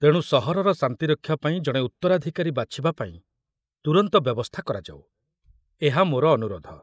ତେଣୁ ସହରର ଶାନ୍ତିରକ୍ଷା ପାଇଁ ଜଣେ ଉତ୍ତରାଧିକାରୀ ବାଛିବାପାଇଁ ତୁରନ୍ତ ବ୍ୟବସ୍ଥା କରାଯାଉ, ଏହା ମୋର ଅନୁରୋଧ।